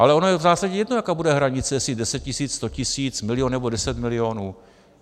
Ale ono je v zásadě jedno, jaká bude hranice, jestli deset tisíc, sto tisíc, milion nebo deset milionů.